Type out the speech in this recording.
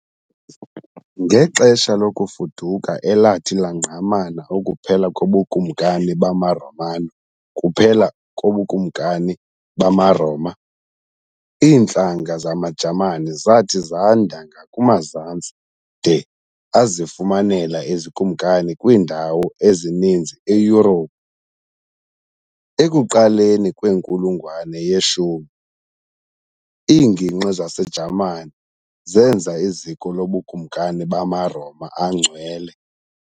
Ngexesha lokuFuduka elathi langqamana ukuphela kobuKumkani bamaRomanokuphela kobuKumkani bamaRoma, iintlanga zamaJamani zathi zanda ngakumazantsi de azifumanela izikumkani kwiindawo ezininzi eYurophu. Ekuqaleni kwenkulungwane ye-10, iingingqi zaseJamani zenza iziko lobukumkani bamaRoma aNgcwele.